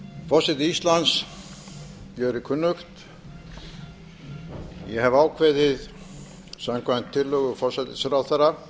forseta íslands gjörir kunnugt ég hef ákveðið samkvæmt tillögu forsætisráðherra